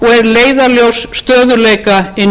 leiðarljós stöðugleika inn í